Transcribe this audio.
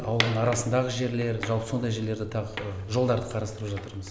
ауылдың арасындағы жерлер жалпы сондай жерлерді тағы жолдарды қарастырып жатырмыз